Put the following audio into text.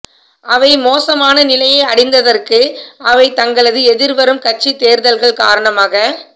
அவை மோசமான நிலையை அடைந்ததற்கு அவை தங்களது எதிர்வரும் கட்சித் தேர்தல்கள் காரணமாக